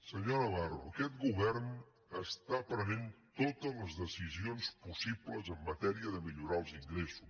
senyor navarro aquest govern pren totes les decisions possibles en matèria de millorar els ingressos